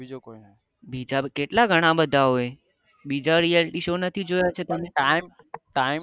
બિચારો કેટલા ઘણા બધા હોય બીજા reality show નથી જોયા છે તમે